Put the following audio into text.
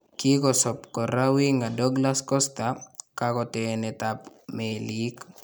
Kikosoop koraa Winga Douglas Costa kakootenetab meliik